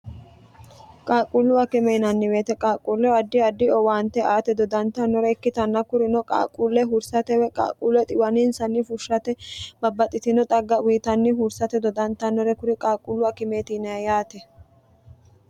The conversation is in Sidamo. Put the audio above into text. qaaquullu akime inanni weete qaaqquulle addi adi owaante aate dodantannore ikkitanna kurino qaaqquulle hursate woy qaaquulle xiwaniinsanni fushshate babbaxxitino xagga wiitanni hursate dodantannore kuri qaaquullu akimeet yinay yaate